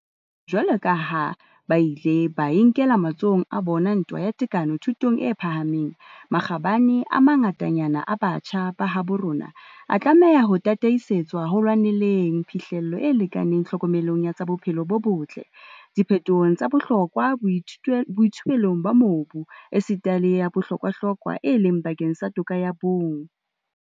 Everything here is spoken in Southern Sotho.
Jwaloka ha ba ile ba e nkela matsohong a bona ntwa ya tekano thutong e phahameng, makgabane a mangatanyana a batjha ba habo rona a tlameha ho tataisetswa ho lwaneleng phihlello e lekanang tlhokomelong ya tsa bophelo bo botle, diphetohong tsa bohlokwa boithuelong ba mobu, esita le ya bohlokwahlokwa, e leng bakeng sa toka ya bong.